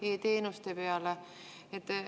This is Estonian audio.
– e‑teenuste peale.